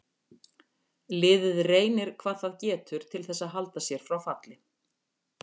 Liðið reynir hvað það getur til þess að halda sér frá falli.